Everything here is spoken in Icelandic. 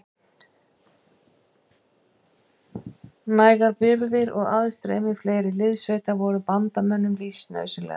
Nægar birgðir og aðstreymi fleiri liðssveita voru bandamönnum lífsnauðsynlegar.